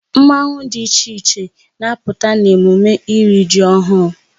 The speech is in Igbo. Mmanwụ dị iche iche na-apụta n'emume iri ji ọhụụ.